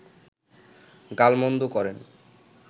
গালমন্দ করেন